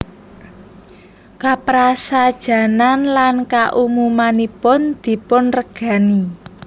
Kaprasajanan lan kaumumanipun dipunregani